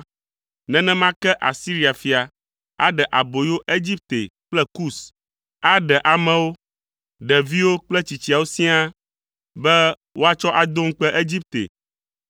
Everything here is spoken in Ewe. nenema ke Asiria fia aɖe aboyo Egipte kple Kus, aɖe amewo, ɖeviwo kple tsitsiawo siaa be woatsɔ ado ŋukpe Egipte,